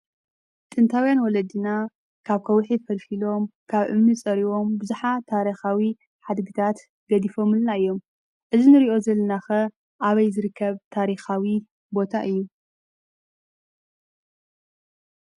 ጥንታውያን ወለድና ካብ ከውሒ ፈልፈሎም ፣ ካብ እምኒ ፀሪቦም ቡዙሓት ታሪኻዊ ሓድግታት ገዲፎምልና እዮም፡፡ እዚ ንሪኦ ዘለናኸ ኣበይ ዝርከብ ታሪኻዊ ቦታ እዩ?